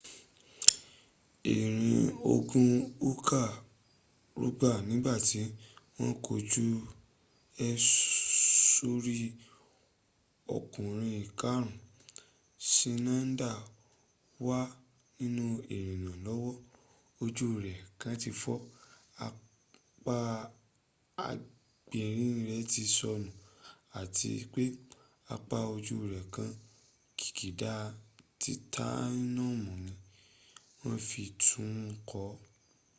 irinogun uka rugbá nígbàtí wọ́n kọjú ẹ̀ sórí okùnrin ikarun ṣinaida wà nínú ìnira lọ́wọ́ ojú rẹ̀ kan ti fọ́ apá agbári rẹ̀ ti sọnù ati pé apá ojú rẹ̀ kan kikida titaniumu ni wọn fi tún un kọ́